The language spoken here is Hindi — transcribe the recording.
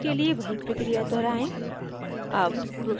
सारे वाक्यों के लिए वही प्रक्रिया दोहराएं